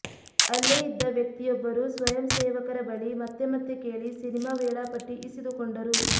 ಅಲ್ಲೇ ಇದ್ದ ವ್ಯಕ್ತಿಯೊಬ್ಬರು ಸ್ವಯಂ ಸೇವಕರ ಬಳಿ ಮತ್ತೆ ಮತ್ತೆ ಕೇಳಿ ಸಿನಿಮಾ ವೇಳಾಪಟ್ಟಿ ಇಸಿದುಕೊಂಡರು